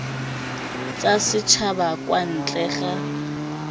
tsa setšhaba kwa ntle ga